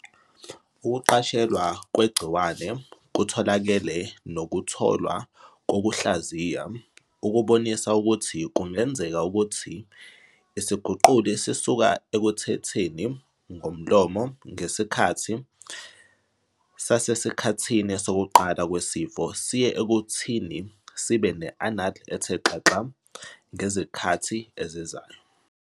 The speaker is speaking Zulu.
Ukuqashelwa kwegciwane kutholakele nokutholwa kokuhlaziya okubonisa ukuthi kungenzeka ukuthi isiguquli sisuka ekuthetheni ngomlomo ngesikhathi sasesikhathini sokuqala kwesifo siye ekuthini sibe ne-anal ethe xaxa ngezikhathi ezizayo.